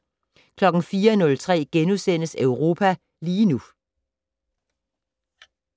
04:03: Europa lige nu *